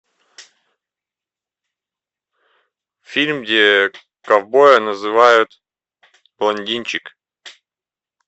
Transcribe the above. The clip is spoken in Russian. фильм где ковбоя называют блондинчик